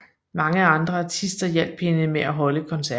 Mange andre artister hjalp hende med at holde koncerten